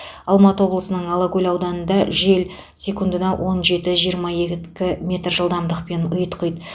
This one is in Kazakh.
алматы облысының алакөл ауданында жел секундына он жеті жиырма екі жылдамдықпен ұйтқиды